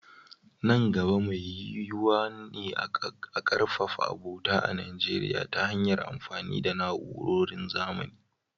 Nan gaba, mai yiyuwa ne a ƙarfafa abota a Najeriya ta hanyar amfani da na’urorin zamani.